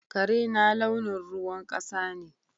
Karena launin ruwan kasa ne.